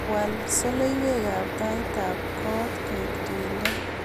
Wal soloiwatab tait ab kot koek tuindo